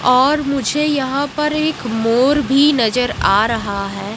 और मुझे यहां पर एक मोर भी नजर आ रहा है।